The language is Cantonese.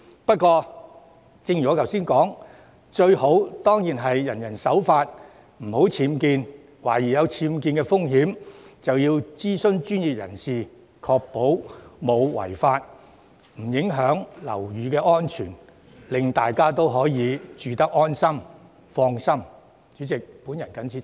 不過，正如我剛才所說，最好是人人守法，不作僭建，並在懷疑有僭建風險時諮詢專業人士，確保沒有違法和不會影響樓宇安全，令大家可以安心居住。